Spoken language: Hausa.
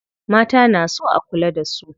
Mata na so a kula da su.